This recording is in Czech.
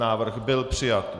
Návrh byl přijat.